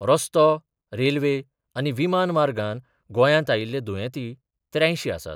रस्तो, रेल्वे आनी विमान मार्गान गोंयात आयिल्ले दुयेंती त्र्यांयशी आसात.